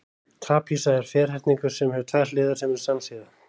trapisa er ferhyrningur sem hefur tvær hliðar sem eru samsíða